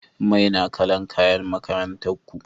Mai na kala'n kayan makarantan ku?